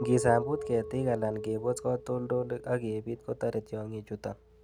Ingisambut ketik alan kebos katoltolik ok kebiit kotore tiongichuton